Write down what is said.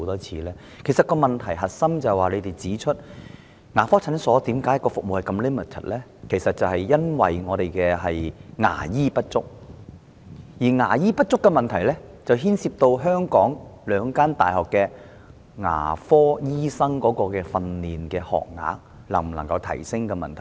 局方指出問題的核心是牙科診所服務相當 limited， 原因其實是牙醫不足，而牙醫不足牽涉到香港兩間大學的牙科醫生訓練學額能否增加的問題。